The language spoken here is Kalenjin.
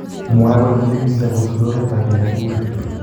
Mwae kole tekisi ak kosubii oret ab Yaya Toure